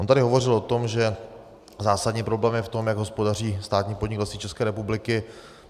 On tady hovořil o tom, že zásadní problém je v tom, jak hospodaří státní podnik Lesy České republiky.